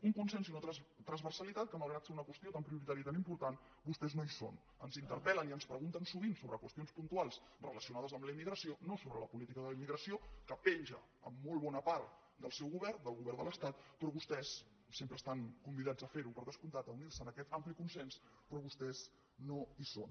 un consens i una transversalitat que malgrat ser una qüestió tan prioritària i tan important vostès no hi són ens interpel·len i ens pregunten sovint sobre qüestions puntuals relacionades amb la immigració no sobre la política de la immigració que penja en molt bona part del seu govern del govern de l’estat sempre estan convidats a fer ho per descomptat a unir se a aquest ampli consens però vostès no hi són